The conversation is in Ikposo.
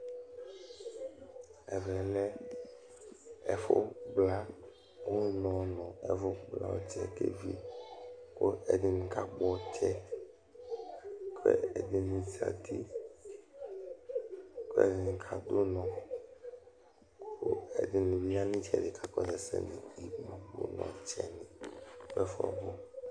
Ɛvɛ lɛ ɛfʋkpla ʋnɔ nʋ ɛfʋkpla ɔtsɛ kʋ evi Kʋɛdɩnɩ kakpɔ ɔtsɛ, kʋ ɛdɩnɩ zǝtɩ, kʋ alʋ ɛdɩnɩ kadʋ ʋnɔ, kʋ ɛdɩnɩ yanʋ ɩtsɛdɩ kakɔsʋ ɛsɛ Ɔtsɛnɩ dʋ ɛfʋɛ ɔbʋ